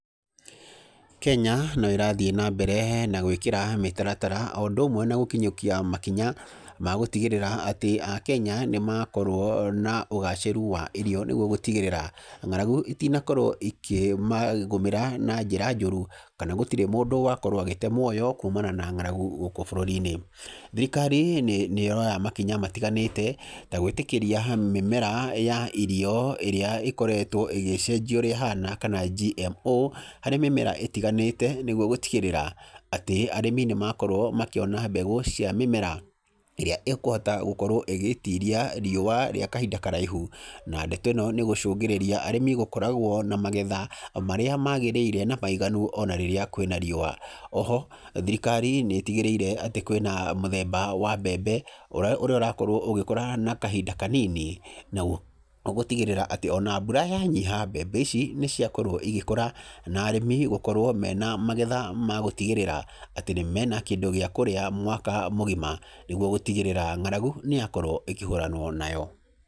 Kenya no ĩrathiĩ na mbere na gwĩkĩra mĩtaratara o ũndũ ũmwe na gũkinyũkia makinya, ma gũtigĩrĩra atĩ Akenya, nĩ makorwo na ũgaacĩru wa irio nĩguo gũtigĩrĩra ng'aragu itinakorwo ikĩmagũmĩra na njĩra njũru. Kana gũtirĩ mũndũ wakorwo agĩte muoyo kumana na ng'aragu gũkũ bũrũri-inĩ. Thirikari nĩ nĩ ĩroya makinya matiganĩte, ta gwĩtĩkĩria mĩmera ya irio, ĩrĩa ĩkoretwo ĩgĩcenjio ũrĩa ĩhana, kana GMO, harĩ mĩmera ĩtiganĩte, nĩguo gũtigĩrĩra, atĩ arĩmi nĩ makorwo makĩona mbegũ cia mĩmera, ĩrĩa ĩkũhota gũkorwo ĩgĩtiria riũa rĩa kahinda karaihu. Na ndeto ĩno nĩ ĩgũcũngĩrĩria arĩmi gũkoragwo na magetha marĩa magĩrĩire na maiganu ona rĩrĩa kwĩna riũa. Oho, thirikari nĩ ĩtigĩrĩire atĩ kwĩna mũthemba wa mbembe, ũrĩa ũrakorwo ũgĩkora na kahinda kanini, na oho gũtigĩrĩra atĩ ona mbura yanyiha, mbembe ici nĩ ciakorwo igĩkũra, na arĩmi gũkorwo mena magetha ma gũtigĩrĩra, atĩ nĩ mena kĩndũ gĩa kũrĩa mwaka mũgima, nĩguo gũtigĩrĩra ng'aragu nĩ yakorwo ĩkĩhũranwo nayo.